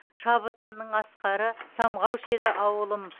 шабытымның асқары самғаушы еді ауылым